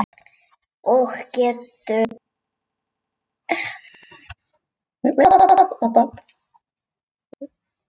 Og geturðu annast hann?